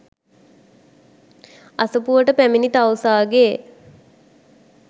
අසපුවට පැමිණි තවුසාගේ